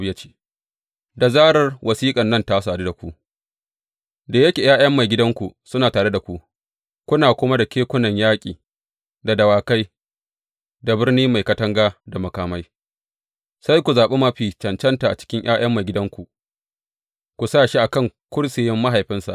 Ya ce, Da zarar wasiƙan nan ta sadu da ku, da yake ’ya’yan maigidanku suna tare da ku, kuna kuma da kekunan yaƙi da dawakai, da birni mai katanga da makamai, sai ku zaɓi mafi cancanta a cikin ’ya’yan maigidanku ku sa shi a kan kursiyin mahaifinsa.